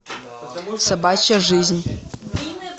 собачья жизнь